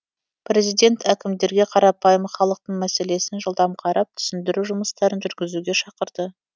президент әкімдерге қарапайым халықтың мәселесін жылдам қарап түсіндіру жұмыстарын жүргізуге шақырды